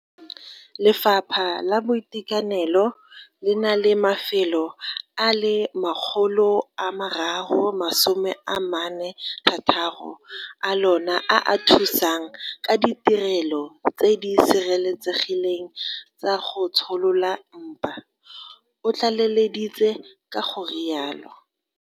Lefapha la Boitekanelo le na le mafelo a le 346 a lona a a thusang ka ditirelo tse di sireletsegileng tsa go tsholola mpa, o tlaleleditse ka go rialo.